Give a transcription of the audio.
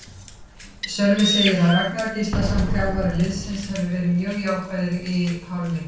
Sölvi segir að Ragnar Gíslason, þjálfari liðsins, hafi verið mjög jákvæður í hálfleiknum.